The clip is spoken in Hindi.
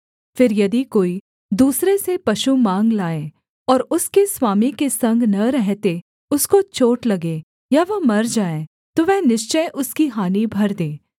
फिर यदि कोई दूसरे से पशु माँग लाए और उसके स्वामी के संग न रहते उसको चोट लगे या वह मर जाए तो वह निश्चय उसकी हानि भर दे